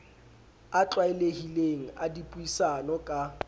a tlwaelehileng a dipuisano ka